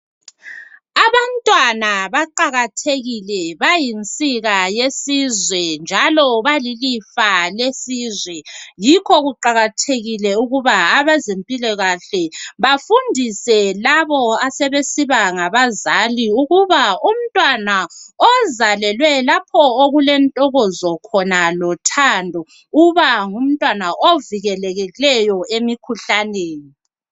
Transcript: Abantwana baqakathekile bayinsika yesizwe njalo balilifa lesizwe, yikho kuqakathekile ukuba abezempilakahle bafundise labo asebesiba ngabazali ukuba umntwana ozalelwe lapho okulentokozo khona lothando uba ngumntwana ovikelekileyo emikhuhlaneni.